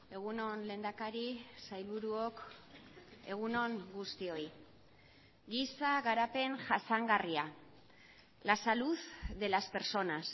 egun on lehendakari sailburuok egun on guztioi giza garapen jasangarria la salud de las personas